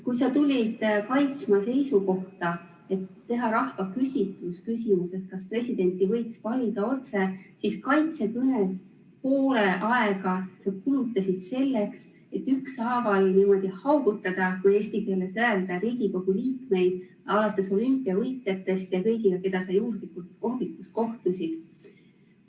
Kui sa tulid kaitsma ettepanekut teha rahvahääletus küsimusega, kas presidenti võiks valida otse, siis kaitsekõnest poole sa kulutasid selleks, et ükshaaval haugutada, kui rahvakeeles öelda, Riigikogu liikmeid alates olümpiavõitjatest ja lõpetades kõigiga, kellega sa juhuslikult kohvikus kohtusid.